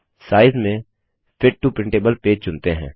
size में fit to printable page चुनते हैं